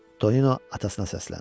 Tonino atasına səsləndi.